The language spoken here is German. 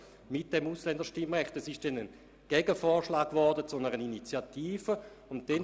Es wurde dann ein Gegenvorschlag zu einer Initiative eingebracht.